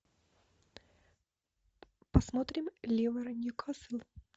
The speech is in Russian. посмотрим ливера ньюкасл